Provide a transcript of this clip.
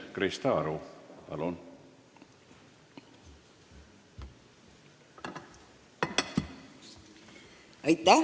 Krista Aru, palun!